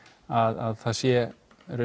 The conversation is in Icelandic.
að það sé